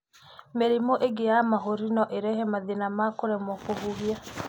Mĩrimũ ĩngĩ ya mahũri no ĩrehe mathĩna ma kũremo kũhihia.